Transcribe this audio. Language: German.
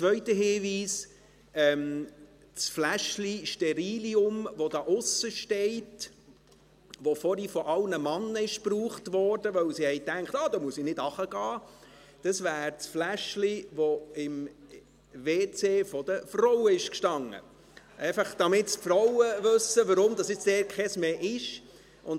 Ein zweiter Hinweis: Das Fläschchen Sterillium, das draussen steht und das vorhin von allen Männern benutzt wurde, weil sie dachten: «Dann muss ich nicht hinuntergehen!», wäre das Fläschchen, das vorher im WC der Frauen stand – einfach, damit die Frauen wissen, weshalb dort jetzt keines mehr steht.